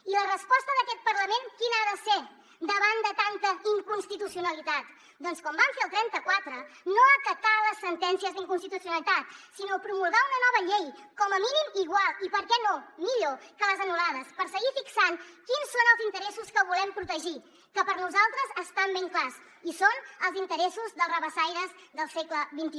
i la resposta d’aquest parlament quina ha de ser davant de tanta inconstitucionalitat doncs com van fer el trenta quatre no acatar les sentències d’inconstitucionalitat sinó promulgar una nova llei com a mínim igual i per què no millor que les anul·lades per seguir fixant quins són els interessos que volem protegir que per nosaltres estan ben clars i són els interessos dels rabassaires del segle xxi